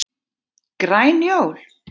Græn jól?